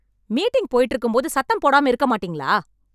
Meeting போயிட்டு இருக்கும்போது சத்தம் போடாம இருக்க மாட்டீங்களா?